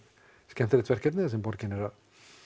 skemmtilegt verkefni sem borgin er að